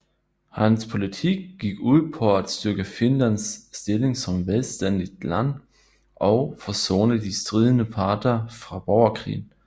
Hans politik gik ud på at styrke Finlands stilling som selvstændigt land og forsone de stridende parter fra borgerkrigen